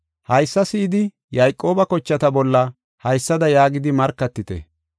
“Haysa si7idi Yayqooba kochata bolla haysada yaagidi markatite.